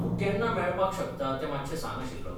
तूं केन्ना मेळपाक शकता तें मात्शें सांग आशिल्लो.